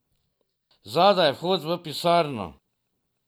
Zadaj je vhod v pisarno.